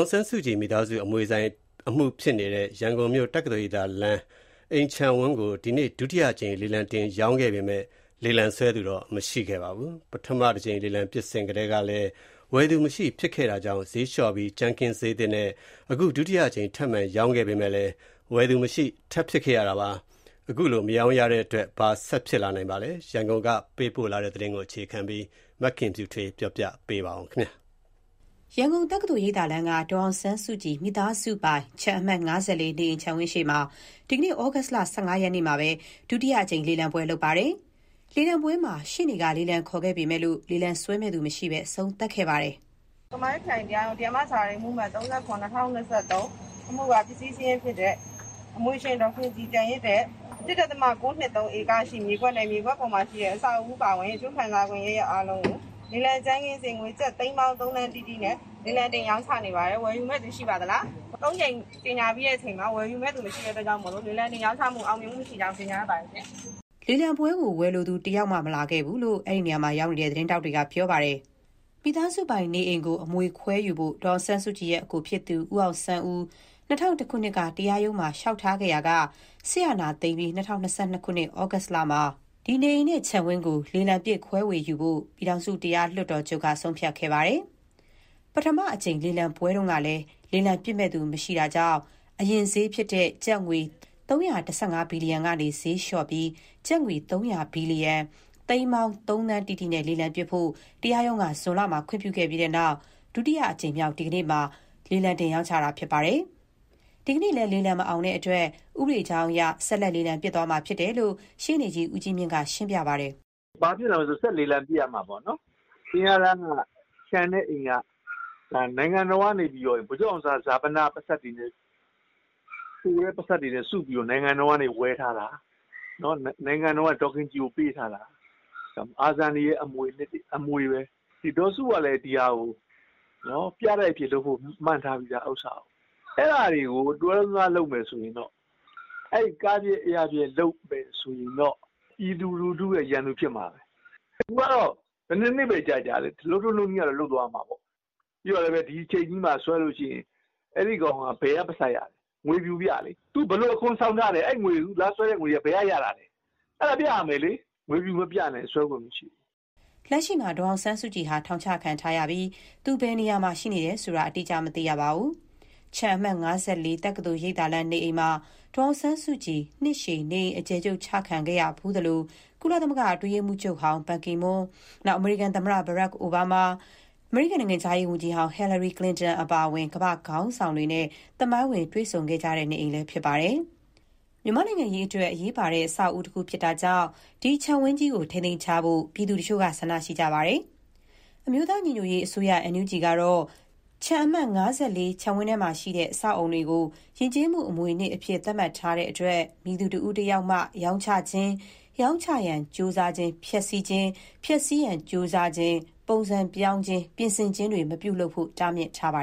င်ဆန်းစုကြည် မိသားစုအမွေဆိုင်အမှုဖြစ်နေတဲ့ ရန်ကုန်မြို့ တက္ကသိုလ်ရိပ်သာလမ်း အိမ်ခြံဝန်းကို ဒီနေ့ ဒုတိယအကြိမ် လေလံတင်ရောင်းခဲ့ပေမဲ့ လေလံဆွဲသူ မရှိခဲ့ပါဘူး။ ပထမတကြိမ်လေလံပစ်စဉ်ကလည်း ဝယ်သူ မရှိဖြစ်ခဲ့တာကြောင့် ဈေးလျှော့ပြီး ကြမ်းခင်းဈေးသစ်နဲ့ အခု ဒုတိယအကြိမ် ထပ်မံရောင်းခဲ့ပေမဲ့လည်း ဝယ်သူမရှိဖြစ်ခဲ့တာပါ။ အခုလို မရောင်းရတဲ့အတွက် ဘာဆက်ဖြစ်နိုင်ပါသလဲ။ ရန်ကုန်ကပေးပို့တဲ့သတင်းကို တင်ပြထားပါတယ်။ ရန်ကုန်၊ တက္ကသိုလ်ရိပ်သာလမ်းက ဒေါ်အောင်ဆန်းစုကြည် မိသားစုပိုင် ခြံအမှတ် (၅၄) နေအိမ်ခြံဝင်းရှေ့မှာ ဒီနေ့ ဩဂုတ်လ ၁၅ ရက်မှာ ဒုတိအကြိမ် လေလံပွဲ လုပ်ခဲ့ပါတယ်။ လေလံပွဲမှာ ရှေ့နေက လေလံခေါ်ပေမဲ့ လေလံဆွဲမယ့်သူ မရှိဘဲ အဆုံးသတ်ခဲ့ပါတယ်။ "ကမာရွတ်ခရိုင်တရားရုံး တရားမ ဇာရီအမှုအမှတ် ၃၇/၂၀၂၃ အမှုက ပစ္စည်းရှင်ဖြစ်တဲ့ အမွေရှင် ဒေါ်ခင်ကြည်ကျန်ခဲ့တဲ့ ၁.၉၂၃ ဧကရှိတဲ့ မြေကွက်နဲ့မြေကွက်ပေါ် ပါအဆောက်အဦးအပါအဝင် အကျိုးခံစားခွင့် အရပ်ရပ်အားလုံးကို လေလံကြမ်း ခင်းစျေးငွေကျပ် သိန်းပေါင်း ၃ သန်းတိတိနဲ့လေလံတင်ရောင်းချနေပါတယ်။ ၃ ကြိမ် လေလံတင်ရောင်း တာမှာဝယ် မယ့်သူမရှိလို့ လေလံတင်ရောင်းချတာ အောင်မြင်မှုမရှိကြောင်း ကြေငြာအပ်ပါတယ်၊" လေလံပွဲကို ဝယ်လိုသူ တယောက်မှာ မလာခဲ့ဘူးလို့ အဲဒီနေရာမှာရောက်နေတဲ့ သတင်းထောက်တွေက ပြောပါတယ်။ မိသားစုပိုင်နေအိမ်ကို အမွေခွဲယူဖို့ ဒေါ်အောင်ဆန်းစုကြည်ရဲ့ အကိုဖြစ်သူ ဦးအောင်ဆန်းဦိး ၂၀၀၁ ခုနှစ်က တရားရုံးမှာ လျှောက်ထားခဲ့ရာက စစ်အာဏာသိမ်းပြီး ၂၀၂၂ ဩဂုတ်လမှာ နေအိမ်နဲ့ခြံဝန်းကို လေလံပစ်ခွဲဝေယူဖို့ ပြည်ထောင်စုတရား လွှတ်တော်ချုပ်က ဆုံးဖြတ်ခဲ့ပါတယ်။ ပထမအကြိမ် လေလံပွဲတုန်းကလည်း လေလံပစ် ဝယ်ယူမယ့်သူ မရှိတာကြောင့် အရင်ဈေး ကျပ်ငွေ ၃၁၅ ဘီလီယံကနေ ဈေးလျှော့ပြီး ကျပ်ငွေ ၃၀၀ ဘီလီယံ (သိန်းပေါင်း ၃ သန်းတိတိ) နဲ့ လေလံပစ်ဖို့ တရားရုံးက ဇွန်လမှာ ခွင့်ပြုခဲ့ပြီးနောက် ဒုတိယအကြိမ်မြောက် ဒီနေ့မှာ လေလံတင်ရောင်းချခဲ့တာဖြစ်ပါတယ်။ ဒီနေ့လည်း လေလံမအောင်တဲ့အတွက် ဥပဒေကြောင်းအရ ဆက်လက်လေလံပစ်သွားမှာဖြစ်တယ်လို့ ရှေ့နေကြီး ဦးကြီးမြင့်က ရှင်းပြပါတယ်။ "ဘာဖြစ်လာမလဲဆိုတော့ ဆက်လေလံပစ်ရမှာပေါ့ အဲခြံနဲ့အိမ်က နိုင်ငံတော်ကနေ ဗိုလ်ချုပ်အောင် ဆန်းစာပနအတွက် ပိုက်ဆံတွေမှာပိုတဲ့ဟာနဲ့ဒီအိမ်ကိုဒေါ်ခင်ကြည်ကိုဝယ်ပေးတာ အာဇာနည်အမွေ အနှစ်တခု ဖြစ်တယ် နိုင်ငံတော်ကဝယ်ပေးထားတာ။ ဒေါ်စုကလည်းဒါကိုပြတိုက်လုပ်စေချင်တယ်။ ရည်မှန်းထားပြီးသား။ အဲဒါတွေကိုတလွဲလုပ်မယ်ဆိုရင် ပြည်သူရန်သူဖြစ်မှာဘဲ။ ဘယ်နှစ်နှစ်ဘဲ ကြာ ကြာလုပ်ထုံးလုပ်နည်းအတိုင်းလုပ်မှာပေါ့ နောက်ဒီအိမ် ကိုဆွဲတဲ့သူက ဒီချိန်မှာဘယ်ကပိုက်ဆံရလဲ ငွေ ဖြူပြရမယ် ဘယ်လိုအခွန်ဆောင်ထားလဲ အဲဒါကိုဘယ်ကရတာလဲ ပြရမယ်လေ ငွေဖြူမပြရင်ဆွဲခွင့် မရှိဘူး။" လက်ရှိမှာ ဒေါ်အောင်ဆန်းစုကြည်ဟာ ထောင်ချခံထားရပြီး သူဘယ်နေရာမှာ ရှိနေတယ်ဆိုတာ အတိအကျ မသိရပါဘူး။ ခြံအမှတ် ၅၄ တက္ကသိုလ်ရိပ်သာလမ်းနေအိမ်မှာ ဒေါ်အောင်ဆန်းစုကြည် နှစ်ရှည် နေအိမ်အကျယ်ချုပ်ချခံခဲ့ရဖူးသလို၊ ကုလသမဂ္ဂအတွင်းရေးမှူးချုပ်ဟောင်း Ban Ki-moon၊ အမေရိကန်သမ္မတဟောင်း Barack Obama၊ နိုင်ငံခြားရေးဝန်ကြီးဟောင်း Hillary Clinton အပါအဝင် ကမ္ဘာ့ခေါင်းဆောင်တွေနဲ့ သမိုင်းဝင်တွေ့ဆုံခဲ့ကြတဲ့ နေအိမ်လည်းဖြစ်ပါတယ်။ မြန်မာ့နိုင်ငံရေးအတွက်အရေးပါတဲ့ အဆောက်အဦးတခုဖြစ်တာကြောင့် ဒီခြံဝန်းကြီးကို ထိန်းသိမ်းထားဖို့ ပြည်သူတချို့က ဆန္ဒရှိကြပါတယ်။ အမျိုးသားညီညွတ်ရေးအစိုးရ (NUG) ကတော့ ခြံအမှတ် ၅၄ ခြံထဲမှာရှိတဲ့ အဆောက်အအုံတွေကို ယဉ်ကျေးမှုအမွေအနှစ်အဖြစ် သတ်မှတ်ထားတဲ့အတွက် မည်သူတဦးတယောက်မှ ရောင်းချခြင်း၊ ရောင်းချရန် ကြိုးစားခြင်း၊ ဖျက်ဆီးခြင်း၊ ဖျက်ဆီးရန် ကြိုးစားခြင်း၊ ပုံစံပြောင်းခြင်း၊ ပြင်ဆင်ခြင်း မပြုလုပ်ဖို့ကို တားမြစ်ထားပါ